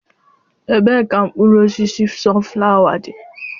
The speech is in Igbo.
Ebee ka mkpụrụ osisi sunflawa dị?